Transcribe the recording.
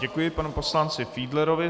Děkuji panu poslanci Fiedlerovi.